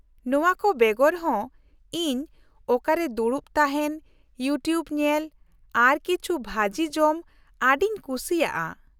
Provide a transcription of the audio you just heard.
-ᱱᱚᱶᱟ ᱠᱚ ᱵᱮᱜᱚᱨ ᱦᱚᱸ , ᱤᱧ ᱚᱠᱟᱨᱮ ᱫᱩᱲᱩᱵ ᱛᱟᱦᱮᱱ , ᱤᱭᱩᱴᱤᱣᱩᱵ ᱧᱮᱞ ᱟᱨ ᱠᱤᱪᱷᱩ ᱵᱷᱟᱡᱤ ᱡᱚᱢ ᱟᱹᱰᱤᱧ ᱠᱩᱥᱤᱭᱟᱜᱼᱟ ᱾